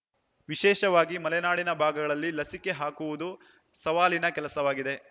ವಿಶೇಷವಾಗಿ ಮಲೆನಾಡಿನ ಭಾಗಗಳಲ್ಲಿ ಲಸಿಕೆ ಹಾಕುವುದು ಸವಾಲಿನ ಕೆಲಸವಾಗಿದೆ